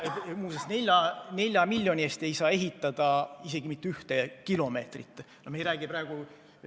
Muuseas, 4 miljoni eest ei saa ehitada isegi mitte 1 km neljarealist maanteed.